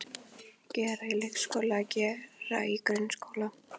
Gera í leikskóla Gera í grunnskóla